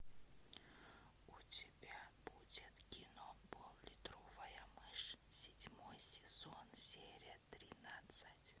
у тебя будет кино пол литровая мышь седьмой сезон серия тринадцать